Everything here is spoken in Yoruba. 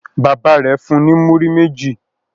Bàbá rẹ̀ fun ní múrí méjì.